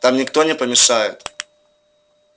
там никто не помешает